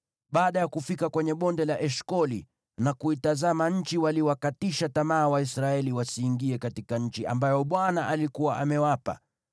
Baada ya kufika kwenye Bonde la Eshkoli na kuitazama nchi, waliwakatisha tamaa Waisraeli wasiingie katika nchi ambayo Bwana alikuwa amewapa.